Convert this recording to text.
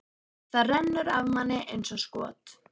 Það rennur af manni eins og skot.